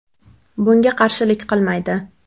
Bunga qarshilik qilmaydi.